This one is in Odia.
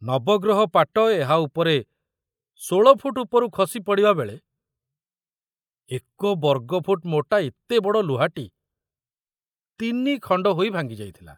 ନବଗ୍ରହ ପାଟ ଏହା ଉପରେ ଷୋଳଫୁଟ ଉପରୁ ଖସି ପଡ଼ିବାବେଳେ ଏକ ବର୍ଗଫୁଟ ମୋଟା ଏତେ ବଡ଼ ଲୁହାଟି ତିନିଖଣ୍ଡ ହୋଇ ଭାଙ୍ଗି ଯାଇଥିଲା।